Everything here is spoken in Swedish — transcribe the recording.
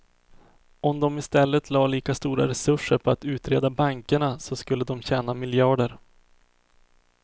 Om dom i stället la lika stora resurser på att utreda bankerna så skulle dom tjäna miljarder.